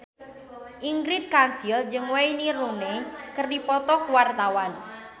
Ingrid Kansil jeung Wayne Rooney keur dipoto ku wartawan